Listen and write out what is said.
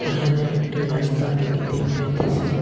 এখানে একটি রাস্তা দেখিতে পাইতাসি।